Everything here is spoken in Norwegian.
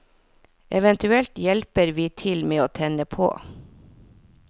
Eventuelt hjelper vi til med å tenne på.